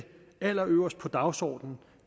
allerøverst på dagsordenen